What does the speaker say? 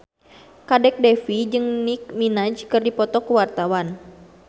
Kadek Devi jeung Nicky Minaj keur dipoto ku wartawan